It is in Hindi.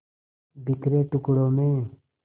बिखरे टुकड़ों में